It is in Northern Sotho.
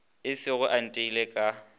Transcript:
esego ge a nteile ka